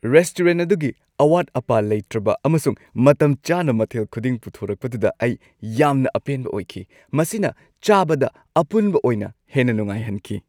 Restaurant ꯑꯗꯨꯒꯤ ꯑꯋꯥꯠ-ꯑꯄꯥ ꯂꯩꯇ꯭ꯔꯕ ꯑꯃꯁꯨꯡ ꯃꯇꯝꯆꯥꯅ ꯃꯊꯦꯜ ꯈꯨꯗꯤꯡ ꯄꯨꯊꯣꯔꯛꯄꯗꯨꯗ ꯑꯩ ꯌꯥꯝꯅ ꯑꯄꯦꯟꯕ ꯑꯣꯏꯈꯤ; ꯃꯁꯤꯅ ꯆꯥꯕꯗ ꯑꯄꯨꯟꯕ ꯑꯣꯏꯅ ꯍꯦꯟꯅ ꯅꯨꯡꯉꯥꯏꯍꯟꯈꯤ ꯫